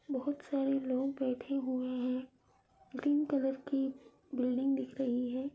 बहुत सारे लोग बैठें हुए है ग्रीन कलर की बिल्डिंग दिख रही है।